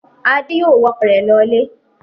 Adé yóò wa ọkọ̀ rẹ̀ lọlé!